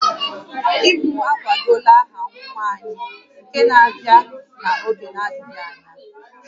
Di m akwadola aha nwa anyị nke ga-abịa n'oge na-adịghị anya